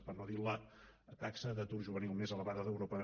per no dir la taxa d’atur juvenil més elevada d’europa